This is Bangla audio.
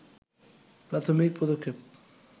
প্রাথমিক পদক্ষেপ